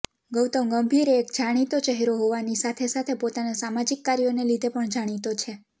ગૌતમ ગંભીર એક જાણીતો ચહેરો હોવાની સાથે સાથે પોતાના સામાજિક કાર્યોને લીધે પણ જાણીતો છે